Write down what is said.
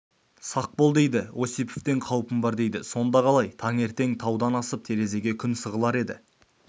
сақ бол дейді осиповтен қаупім бар дейді сонда қалай таңертең таудан асып терезеге күн сығалар еді